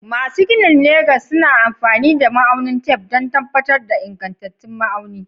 Masu ginin Legas sukan yi amfani da ma'aunin tef don tabbatar da ingantattun ma'auni.